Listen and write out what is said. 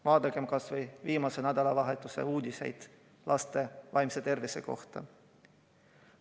Vaadakem kas või viimase nädalavahetuse uudiseid laste vaimse tervise kohta.